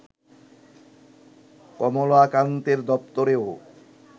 কমলাকান্তের দপ্তরেও